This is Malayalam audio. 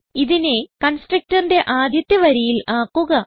ഇതിനെ constructorന്റെ ആദ്യത്തെ വരിയിൽ ആക്കുക